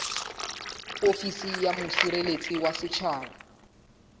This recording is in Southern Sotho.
ofisi ya mosireletsi wa setjhaba